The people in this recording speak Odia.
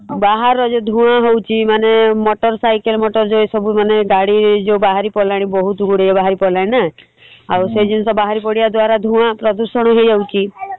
ବାହାର ଯଉ ଧୂଆଁ ହଉଚି ମାନେ motor cycle motor ଏସବୁ ମାନେ ଗାଡି ଯଉ ବାହାରି ପଡିଲାଣି ବହୁତ୍ ଗୁଡିଏ ବାହାରି ପଡିଲାଣି ନା ଆଉ ସେଇ ଜିନିଷ ବାହାରି ପଡିବା ଦ୍ଵାରା ଧୂଆଁ ପ୍ରଦୂଷଣ ହେଇଯାଉଚି ।